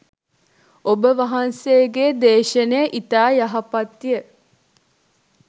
ඔබ වහන්සේගේ දේශනය ඉතා යහපත්ය.